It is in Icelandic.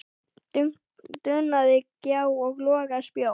dunaði gjá og loga spjó.